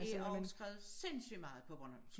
Der også skrevet sindssygt meget på bornholmsk